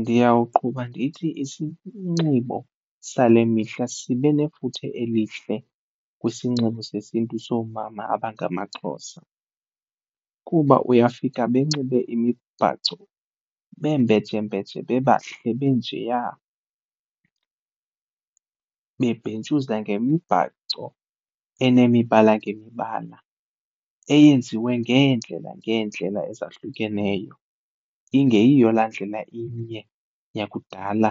Ndiyawuqhuba ndithi isinxibo sale mihla sibe nefuthe elihle kwisinxibo sesiNtu soomama abangamaXhosa kuba uyafika benxibe imibhaco bembejembeje bebahle be njeya. Bebhentsuza ngemibhaco enemibala ngemibala eyenziwe ngeendlela ngeendlela ezahlukeneyo ingeyiyo laa ndlela inye yakudala